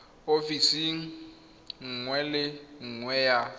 ofising nngwe le nngwe ya